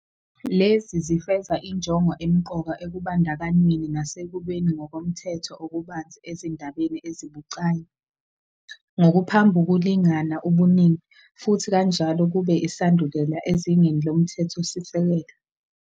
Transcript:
Lezi zifeza injongo emqoka ekubandakanyweni nasekubeni ngokomthetho okubanzi ezindabeni ezibucayi-ngokuphambukulingana ubuningi-futhi kanjalo kube isandulela ezingeni lomthethosisekelo.